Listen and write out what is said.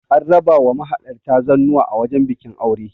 an raba wa mahalarta zannuwa a wajen bikin aure